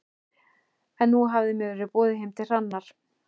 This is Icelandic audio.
En nú hafði mér verið boðið heim til Hrannar.